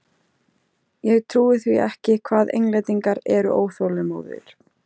Ég trúi því ekki hvað Englendingar eru óþolinmóðir!